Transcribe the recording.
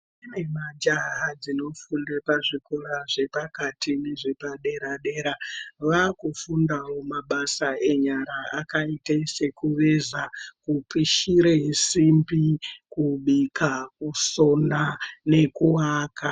Kune majaha dzinofunde kuzvikora zvepakati nezvepadera dera vakufundawo mabasa enyara akaite sekuveza ,kupishire simbi ,kubika kusona nekuaka.